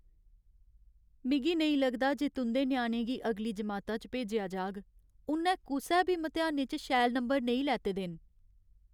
मिगी नेईं लगदा जे तुं'दे ञ्याणे गी अगली जमाता च भेजेआ जाह्ग। उ'न्नै कुसै बी मतेहानै च शैल नंबर नेईं लैते दे न।